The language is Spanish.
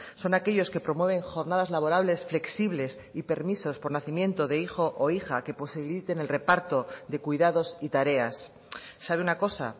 son aquellos que promueven jornadas laborables flexibles y permisos por nacimiento de hijo o hija que posibiliten el reparto de cuidados y tareas sabe una cosa